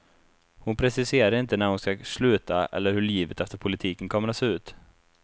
Hon preciserar inte när hon ska sluta eller hur livet efter politiken kommer att se ut.